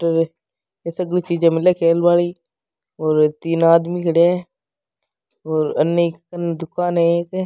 ये सगली चीजे मिल खेल बाली और तीन आदमी खड़े है और अनि कन दुकान है एक।